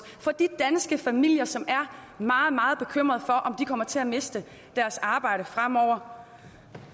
for de danske familier som er meget meget bekymrede for om de kommer til at miste deres arbejde fremover